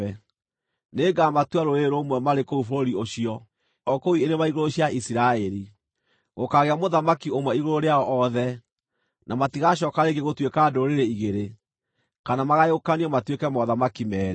Nĩngamatua rũrĩrĩ rũmwe marĩ kũu bũrũri ũcio, o kũu irĩma-igũrũ cia Isiraeli. Gũkaagĩa mũthamaki ũmwe igũrũ rĩao othe, na matigacooka rĩngĩ gũtuĩka ndũrĩrĩ igĩrĩ, kana magayũkanio matuĩke mothamaki meerĩ.